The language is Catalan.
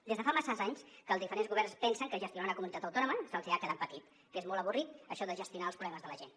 des de fa masses anys que els diferents governs pensen que gestionar una comunitat autònoma se’ls ha quedat petit que és molt avorrit això de gestionar els problemes de la gent